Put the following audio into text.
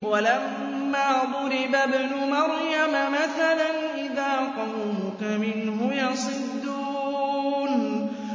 ۞ وَلَمَّا ضُرِبَ ابْنُ مَرْيَمَ مَثَلًا إِذَا قَوْمُكَ مِنْهُ يَصِدُّونَ